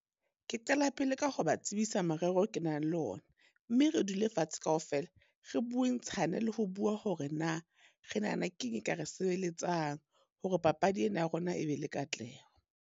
Ke qala pele ka ho ba tsebisa merero o ke nang le ona. Mme re dule fatshe kaofela re bue ntshane le ho bua hore na re nahana keng e ka re sebeletsang, hore papadi ena ya rona e be le katleho.